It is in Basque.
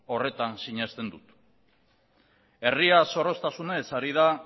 horretan sinesten dut herria zorroztasunez ari da